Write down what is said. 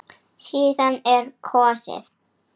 Síðan er kosið.